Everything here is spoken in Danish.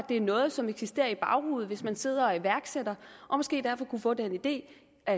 det er noget som eksisterer i baghovedet hvis man sidder og er iværksætter og måske derfor kunne få den idé at